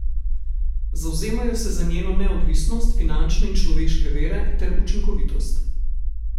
Zavzemajo se za njeno neodvisnost, finančne in človeške vire ter učinkovitost.